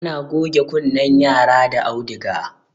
ana goge kunnen yara da auduga